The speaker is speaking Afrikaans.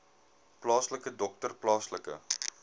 plaaslike dokter plaaslike